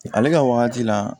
Ale ka wagati la